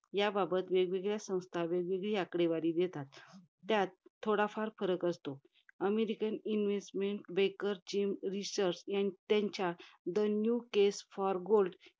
याबाबत वेगवेगळ्या संस्था, वेगवेगळी आकडेवारी देतात त्यात थोडाफार फरक असतो. American investment banker James Rickards यां~ त्यांच्या the new case for gold